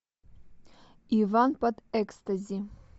иван под экстази